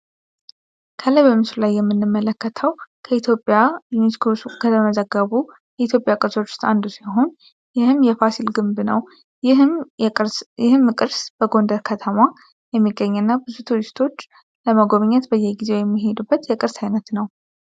ከላይ በምስሉላይ የምንመለከተው በኢትዮጵያ በዩኒስኮ ከመተዘገቡ ቅርሶች መካከል አንዱ ሲሆን ይህም የፋሲል ግንብ ነው። ይህም ቅርስ በጎንደር ከተማ የሚገኝ እና ቱሪስቶች ለመጎብኘት በየጊዜው የሚሄዱበት የቅርስ አይነት ነው።